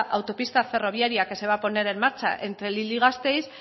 autopista ferroviaria que se va poner en marcha entre gasteiz